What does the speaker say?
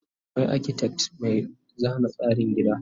akwai architect Mai zana tsarin gida